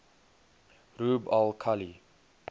rub al khali